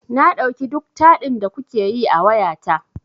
Na ɗauki duk taɗin da kuke yi a wayata.